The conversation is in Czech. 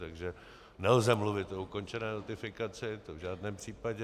Takže nelze mluvit o ukončené notifikaci, to v žádném případě.